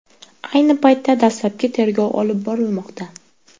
Ayni paytda dastlabki tergov olib borilmoqda.